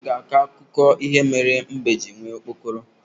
Nne m ga-akọ akụkọ ihe mere mbe ji nwee okpokoro